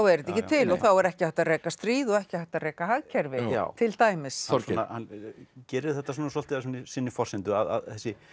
er þetta ekki til þá er ekki hægt að reka stríð og ekki hægt að reka hagkerfi til dæmis hann gerir þetta svolítið að sinni forsendu að þessi